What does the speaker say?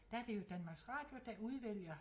Der er det jo Danmarks Radio der udvælger